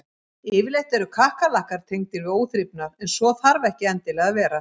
Yfirleitt eru kakkalakkar tengdir við óþrifnað en svo þarf ekki endilega að vera.